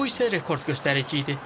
Bu isə rekord göstərici idi.